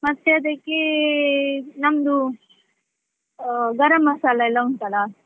ಮತ್ತೆ ಅದಕ್ಕೆ ನಮ್ದು ಗರಂಮಸಾಲೆ ಎಲ್ಲ ಉಂಟ್ ಅಲ್ಲ.